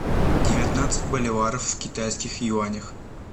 девятнадцать боливаров в китайских юанях